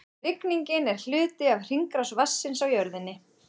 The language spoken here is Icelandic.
Rigningin er hluti af hringrás vatnsins á jörðinni.